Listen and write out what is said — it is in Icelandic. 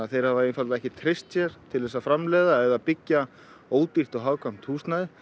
þeir hafa einfaldlega ekki treyst sér til þess að framleiða eða byggja ódýrt og hagkvæmt húsnæði